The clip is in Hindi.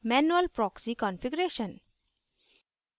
manual proxy configuration